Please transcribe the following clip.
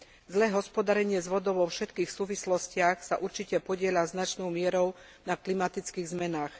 Zlé hospodárenie s vodou vo všetkých súvislostiach sa určite podieľa značnou mierou na klimatických zmenách.